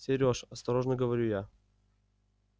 сереж осторожно говорю я